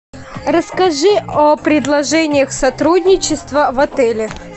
расскажи о предложениях сотрудничества в отеле